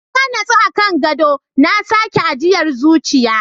Na nutse a kan gadon, na saki ajiyar zuciya.